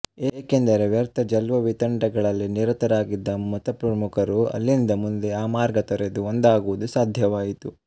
ಏಕೆಂದರೆ ವ್ಯರ್ಥ ಜಲ್ಪವಿತಂಡಗಳಲ್ಲಿ ನಿರತರಾಗಿದ್ದ ಮತಪ್ರಮುಖರು ಅಲ್ಲಿಂದ ಮುಂದೆ ಆ ಮಾರ್ಗ ತೊರೆದು ಒಂದಾಗುವುದು ಸಾಧ್ಯವಾಯಿತು